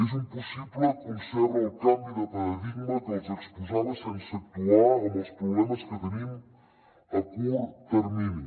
és impossible concebre el canvi de paradigma que els exposava sense actuar amb els problemes que tenim a curt termini